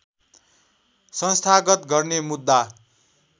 संस्थागत गर्ने मुद्दा